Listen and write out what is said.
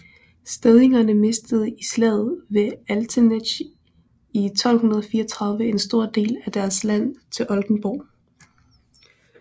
Stedingerne mistede i slaget ved Altenesch 1234 en stor del af deres land til Oldenborg